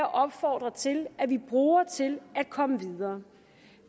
opfordre til at vi bruger til at komme videre